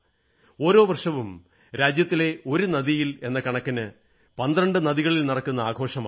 ഓരോ വർഷവും രാജ്യത്തെ ഒരു നദിയിൽ എന്ന കണക്കിന് 12 നദികളിൽ നടക്കുന്ന ആഘോഷമാണിത്